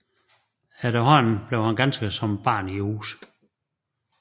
Efterhånden blev han ganske som barn i huset